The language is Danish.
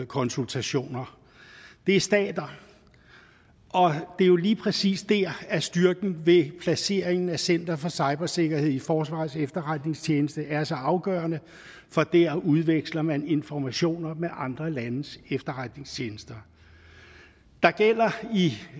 konsultationer det er stater og det er jo lige præcis der at styrken ved placeringen af center for cybersikkerhed i forsvarets efterretningstjeneste er så afgørende for der udveksler man informationer med andre landes efterretningstjenester der gælder i